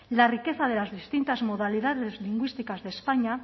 la riqueza de las distintas modalidades lingüísticas de españa